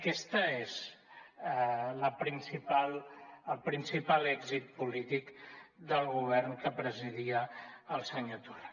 aquest és el principal èxit polític del govern que presidia el senyor torra